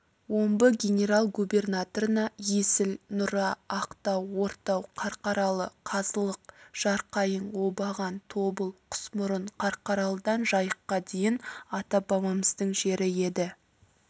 омбы генерал-губернаторына есіл нұра ақтау ортау қарқаралы қазылық жарқайың обаған тобыл құсмұрын қарқаралыдан жайыққа дейін ата-бабамыздың жері еді